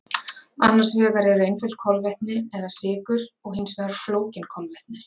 Annars vegar eru einföld kolvetni eða sykur og hins vegar flókin kolvetni.